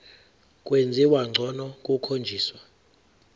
kwenziwa ngcono kukhonjiswa